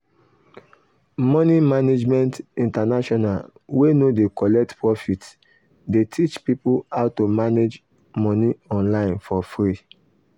money management international wey no dey collect profit dey teach people how to manage money online for free.